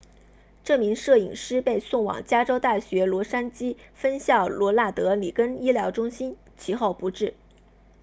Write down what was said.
这名摄影师被送往加州大学洛杉矶分校罗纳德里根医疗中心其后不治